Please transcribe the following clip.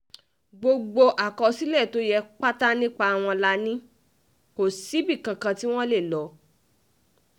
gbogbo àkọsílẹ̀ tó yẹ pátá nípa wọn la um ní kò síbì kankan tí wọ́n lè lọ um